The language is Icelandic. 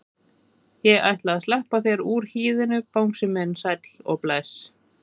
Ég ætla að sleppa þér úr hýðinu bangsi minn sæll og bless.